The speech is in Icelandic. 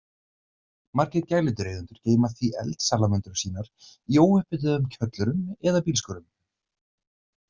Margir gæludýraeigendur geyma því eldsalamöndrur sínar í óupphituðum kjöllurum eða bílskúrum.